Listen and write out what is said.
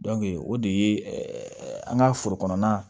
o de ye an ka foro kɔnɔna